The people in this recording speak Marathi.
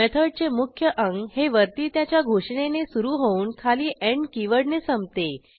मेथडचे मुख्य अंग हे वरती त्याच्या घोषणेने सुरू होऊन खाली एंड कीवर्डने संपते